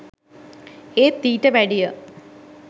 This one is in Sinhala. ඒත් ඊට වැඩිය